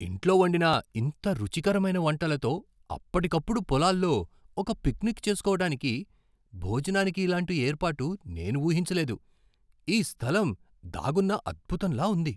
ఇంట్లో వండిన ఇంత రుచికరమైన వంటలతో అప్పటికప్పుడు పొలాల్లో ఒక పిక్నిక్ చేస్కోవటానికి, భోజనానికి ఇలాంటి ఏర్పాటు నేను ఊహించలేదు! ఈ స్థలం దాగున్న అద్భుతంలా ఉంది.